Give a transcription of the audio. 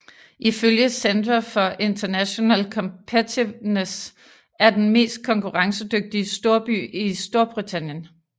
Ifølge Centre for International Competitiveness er det den mest konkurrencedygtig storby i Storbritannien